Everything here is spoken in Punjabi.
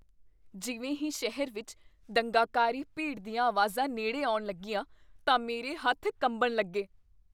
ਜਿਵੇਂ ਹੀ ਸ਼ਹਿਰ ਵਿੱਚ ਦੰਗਾਕਾਰੀ ਭੀੜ ਦੀਆਂ ਆਵਾਜ਼ਾਂ ਨੇੜੇ ਆਉਣ ਲੱਗੀਆਂ, ਤਾਂ ਮੇਰੇ ਹੱਥ ਕੰਬਣ ਲੱਗੇ।